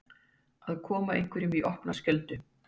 Að koma einhverjum í opna skjöldu